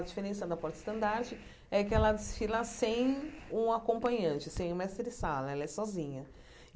A diferença da porta-estandarte é que ela desfila sem um acompanhante, sem o mestre Sala, ela é sozinha.